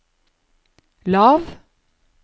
lav